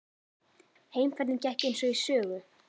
Heimferðin gekk eins og í sögu.